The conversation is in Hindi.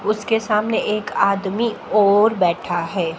उसके सामने एक आदमी और बैठा है।